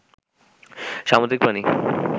সামুদ্রিক প্রাণী